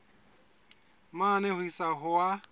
mane ho isa ho a